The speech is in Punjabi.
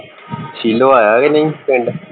ਸ਼ੀਲੋ ਆਇਆ ਕੇ ਨਹੀਂ ਪਿੰਡ